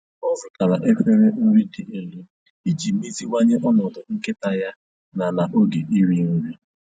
Ọ zụtara efere nri dị elu iji meziwanye ọnọdụ nkịta ya na na oge iri nri.